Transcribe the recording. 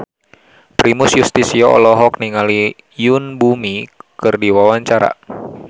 Primus Yustisio olohok ningali Yoon Bomi keur diwawancara